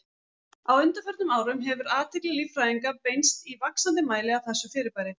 Á undanförnum árum hefur athygli líffræðinga beinst í vaxandi mæli að þessu fyrirbæri.